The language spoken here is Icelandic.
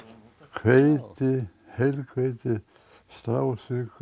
hveiti heilhveiti strásykur